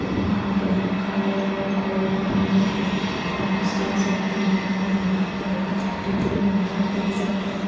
और यहां पे हम काले और गोल्डन रंग के बलूंस देख सकते हैं और यहां पे हम थर्टी थ्री नंबर देख सकते है।